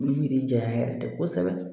Yiri janya yɛrɛ de ye kosɛbɛ